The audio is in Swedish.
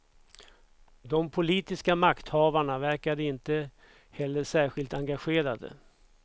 De politiska makthavarna verkar inte heller särskilt engagerade.